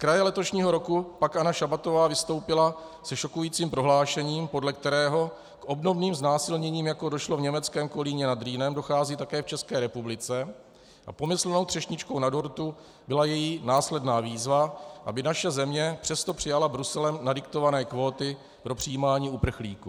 Zkraje letošního roku pak Anna Šabatová vystoupila se šokujícím prohlášením, podle kterého k obdobným znásilněním, jako došlo v německém Kolíně nad Rýnem, dochází také v České republice, a pomyslnou třešničkou na dortu byla její následná výzva, aby naše země přesto přijala Bruselem nadiktované kvóty pro přijímání uprchlíků.